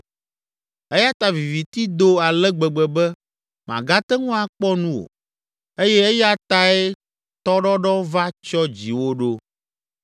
eya ta viviti do ale gbegbe be màgate ŋu akpɔ nu o eye eya tae tɔɖɔɖɔ va tsyɔ dziwò ɖo.